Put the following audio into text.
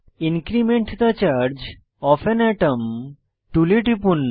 increment the charge of an atom টুলে টিপুন